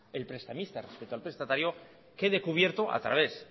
el prestamista respecto al prestatario quede cubierto a través